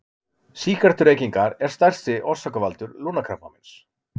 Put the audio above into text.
Sígarettureykingar er stærsti orsakavaldur lungnakrabbameins.